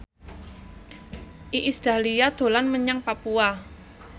Iis Dahlia dolan menyang Papua